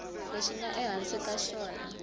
lexi nga ehansi ka xona